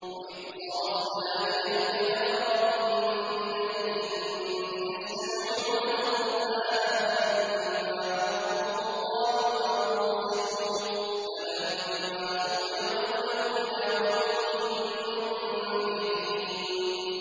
وَإِذْ صَرَفْنَا إِلَيْكَ نَفَرًا مِّنَ الْجِنِّ يَسْتَمِعُونَ الْقُرْآنَ فَلَمَّا حَضَرُوهُ قَالُوا أَنصِتُوا ۖ فَلَمَّا قُضِيَ وَلَّوْا إِلَىٰ قَوْمِهِم مُّنذِرِينَ